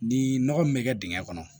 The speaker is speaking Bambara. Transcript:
Ni nɔgɔ min bɛ kɛ dingɛ kɔnɔ